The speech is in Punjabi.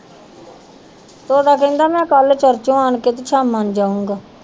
ਤੋਤਾ ਕਹਿੰਦਾ ਮੈਂ ਕੱਲ੍ਹ ਚਰਚੋਂ ਆਣ ਕੇ ਤੇ ਸ਼ਾਮਾਂ ਨੂੰ ਜਾਊਂਗਾ।